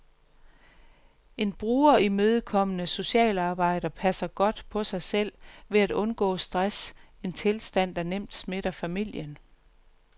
En brugerimødekommende socialarbejder passer godt på sig selv ved at undgå stress, en tilstand der nemt smitter familien.